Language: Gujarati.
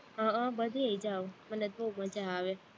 હહહ બધેય જાવ, મને તો બોવ મજા આવે